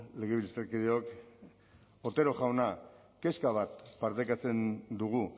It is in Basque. legebiltzarkideok otero jauna kezka bat partekatzen dugu